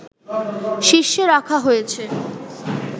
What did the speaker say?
শীর্ষে রাখা হয়েছে